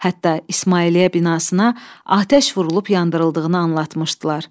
Hətta İsmailiyyə binasına atəş vurulub yandırıldığını anlatmışdılar.